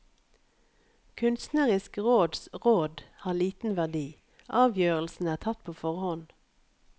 Kunstnerisk råds råd har liten verdi, avgjørelsene er tatt på forhånd.